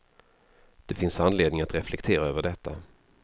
Det finns anledning att reflektera över detta.